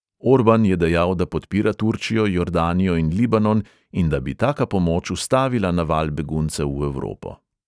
Orban je dejal, da podpira turčijo, jordanijo in libanon in da bi taka pomoč ustavila naval beguncev v evropo.